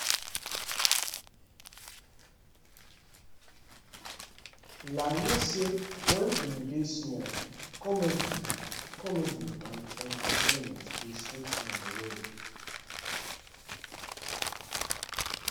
layi say wen im dey small comedy comedy and entertainment dey sweet am well